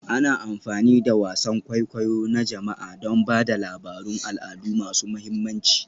Ana amfani da wasan kwaikwayo na jama'a don ba da labarun al'adu masu mahimmanci